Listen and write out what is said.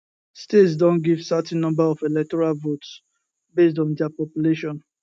states don give certain number of electoral votes based on dia population